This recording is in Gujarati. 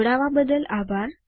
જોડવા બદલ આભાર